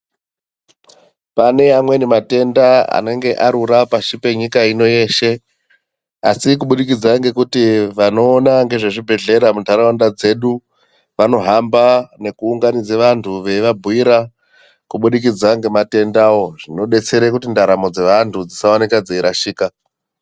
Pane mamweni matenda anenge arura pashi penyika ino yeshe asi kubudikidza ngekuti vanoona ngezve zvibhedhlera mundaraunda dzedu vanohamba nekuunganidza antu veiva bhuyira kubudikidza nematenda wo zvinodetsera kuti ndaramo dzeanhu dzisaoneka dzeirasika.